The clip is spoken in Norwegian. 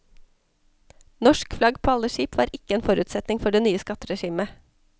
Norsk flagg på alle skip var ikke en forutsetning for det nye skatteregimet.